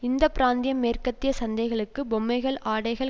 இந்த பிராந்தியம் மேற்கத்திய சந்தைகளுக்கு பொம்மைகள் ஆடைகள்